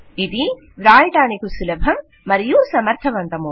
ఇది వ్రాయడానికి సులభం మరియు సమర్థవంతము